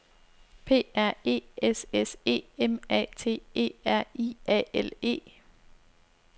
P R E S S E M A T E R I A L E